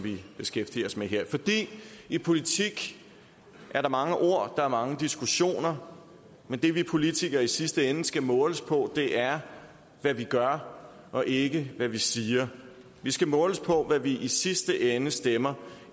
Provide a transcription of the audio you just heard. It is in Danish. vi beskæftiger os med her og i politik er der mange ord og der er mange diskussioner men det vi politikere i sidste ende skal måles på er hvad vi gør og ikke hvad vi siger vi skal måles på hvad vi i sidste ende stemmer